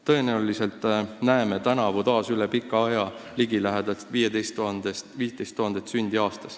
Tõenäoliselt näeme tänavu üle pika aja taas ligilähedalt 15 000 sündi.